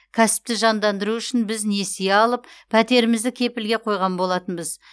кәсіпті жандандыру үшін біз несие алып пәтерімізді кепілге қойған болатынбыз